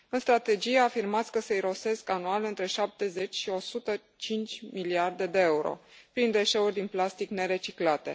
În strategie afirmați că se irosesc anual între 70 și 105 miliarde de euro prin deșeuri din plastic nereciclate.